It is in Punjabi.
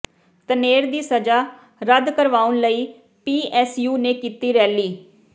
ਧਨੇਰ ਦੀ ਸਜ਼ਾ ਰੱਦ ਕਰਵਾਉਣ ਲਈ ਪੀਐੱਸਯੂ ਨੇ ਕੀਤੀ ਰੈਲੀ